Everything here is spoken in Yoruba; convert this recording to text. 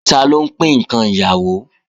Taló ń pín ǹkan ìyàwó